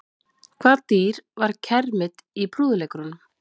Hvaða dýr var kermit í prúðuleikurunum?